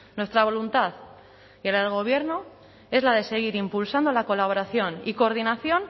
nuestra voluntad y la del gobierno es la de seguir impulsando la colaboración y coordinación